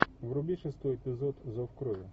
вруби шестой эпизод зов крови